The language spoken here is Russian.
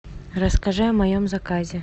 расскажи о моем заказе